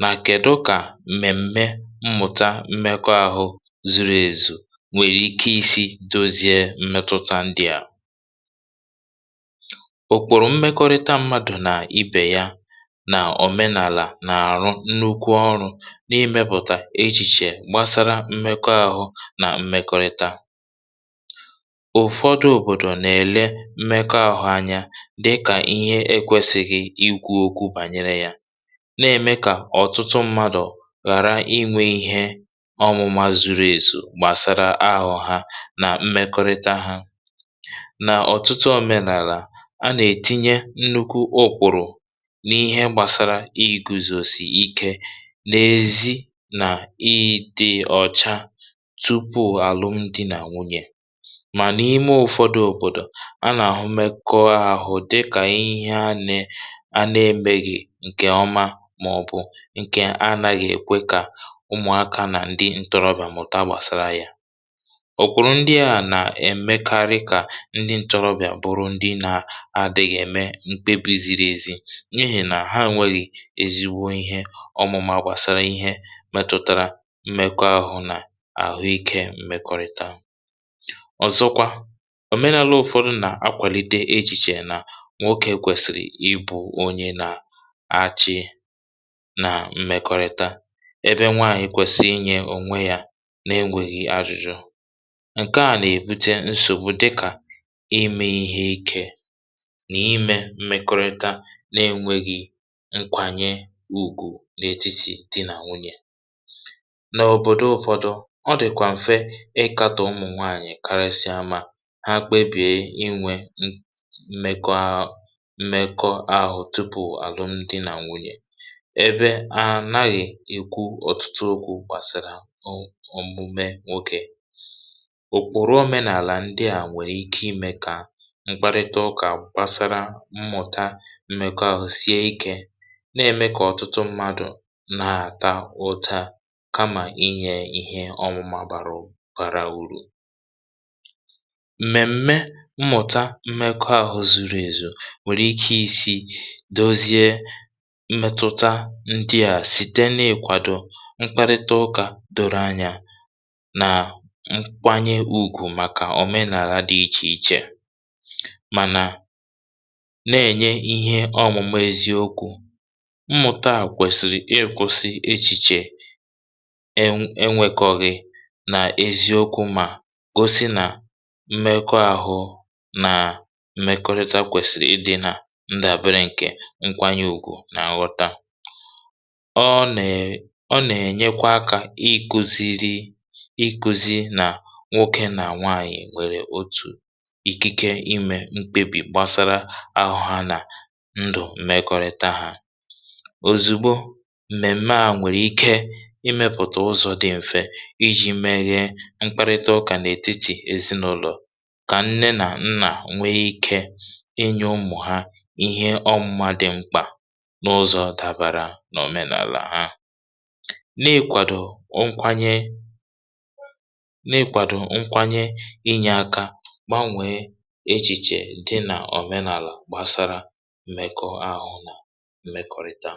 na kèdú kà m̀mèm̀mè mmụ̀tà mmekọ̀ ahụ zuru èzù nwere ike isi dozie mmetụta ndị a um? ụ̀kpụrụ̀ mmekọ̀rịta mmadụ na ibe ya na òmenàlà na-arụ nnukwu ọrụ n’imepụ̀tà echiche gbasara mmekọ̀ ahụ na mmekọ̀rịta. ụ̀fọdụ òbòdò na-èlè mmekọ̀ ahụ anya dị ka ihe ekwesịghị ikwu okwu banyere ya na-eme kà ọ̀tụtụ mmadụ ghara inwe ihe ọmụma zuru ezu gbasara àhụ̀ ha na mmekọ̀rịta ha. n’ọ̀tụtụ òmenàlà, a na-etinye nnukwu òkwùrù na ihe gbasara ịkụzòzi ike n’ezi na ịdị ọ̀cha tupu alụmdi na nwunye. ma n’ime ụ̀fọdụ òbòdò, a na-ahụ mmekọ̀ ahụ dị ka ihe a na-eméghị nke ọma, ma ọ bụ nke a na-ekwe ka ụmụaka na ndị ntorobịa mụta gbasara ya um. òkwùrù ndị a na-emekarị kà ndị ntorobịa bụrụ ndị na-adịghị eme mkpebi ziri ezi n’ihi na ha enweghị ezigbo ihe ọmụma gbasara ihe metụtara mmekọ̀ahụ na ahụ̀ike. mmekọ̀rịta, ọzọkwa, òmenàlà ụ̀fọdụ na-akwàlite echiche na nwoke kwesìrì ibu onye na-achị na mmekọ̀rịta, ebe nwaànyị kwesì inye ònwe ya n’enweghi ajụjụ. nke a na-ebute nsògbu dịka ime ihe ike na ime mmekọ̀ahụ na-enweghị nkwanye ùgwù n’etiti di na nwunye. n’òbòdò ụ̀fọdụ, ọ dịkwa mfe ịkàtó ụmụ nwaànyị, karịsịa mgbe ha kpebìe inwe mmekọ̀ahụ tupu alụmdi na nwunye, ebe a naghị ekwu ọtụtụ okwu gbasara omume nwoke. ụ̀kpụrụ̀ òmenàlà ndị a nwere ike ime kà mkparịta ụkà gbasara mmụ̀tà mmekọ̀ ahụ sie ike um, na-eme kà ọ̀tụtụ mmadụ na-ata ụta kama inye ihe ọmụma bàrà bàrà uru. m̀mèm̀mè mmụ̀tà mmekọ̀ ahụ zuru èzù nwere ike isi dozie mmetụta ndị a site n’ikwàdo mkparịta ụkà doro anya na nkwanye ùgwù maka òmenàlà dị iche iche, ma na-enye ihe ọmụma eziokwu. mmụ̀tà kwesìrì ịkwụsị echiche enweghi nghọta na eziokwu, ma gosi na mmekọ̀ ahụ na mmekọ̀rịta kwesìrì ịdị na ìdà banyere nke nkwanye ùgwù na nghọta. ọ na-enye aka ịkụziri ikwùzi na nwoke na nwaànyị nwere otu ikike ime mkpebi gbasara àhụ̀ ha na ndụ mmekọ̀rịta ha. ozugbo mmèmè a nwere ike imepụta ụzọ dị mfe iji meghe mkparịta ụkà n’etiti ezinụlọ, ka nne na nna nwee ike inye ụmụ ha ihe ọmụma dị mkpa n’ụzọ dabara na òmenàlà ha um, n’ikwàdo nkwanye na n’inyere aka gbanwee echiche dị na òmenàlà gbasara mmekọ̀ ahụ na mmekọ̀rịta.